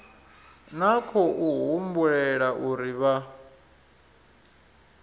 na khou humbulela uri vha